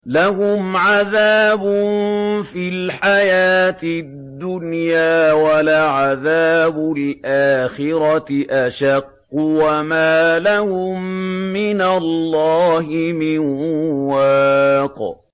لَّهُمْ عَذَابٌ فِي الْحَيَاةِ الدُّنْيَا ۖ وَلَعَذَابُ الْآخِرَةِ أَشَقُّ ۖ وَمَا لَهُم مِّنَ اللَّهِ مِن وَاقٍ